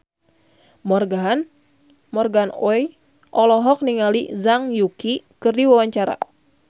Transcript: Morgan Oey olohok ningali Zhang Yuqi keur diwawancara